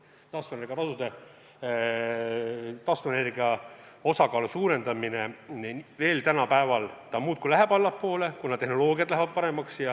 Taastuvenergia osakaalu suurendamise maksumus tänapäeval siiski muudkui läheb allapoole, kuna tehnoloogiad lähevad paremaks.